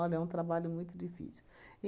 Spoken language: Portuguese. é um trabalho muito difícil.